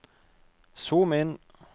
zoom inn